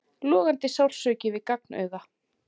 Logandi sársauki við gagnauga.